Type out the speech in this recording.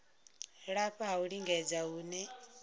lafha ha u lingedza hune